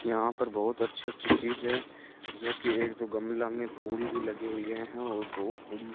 यहां पर बहुत अच्छी-अच्छी चीज है जो कि एक दो गमला में फूल लगे हुए हैं और बहुत बड़ी --